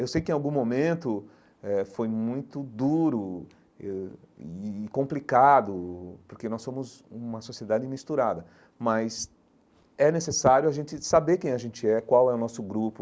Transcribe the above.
Eu sei que, em algum momento eh, foi muito duro eu e e e complicado, porque nós somos uma sociedade misturada, mas é necessário a gente saber quem a gente é, qual é o nosso grupo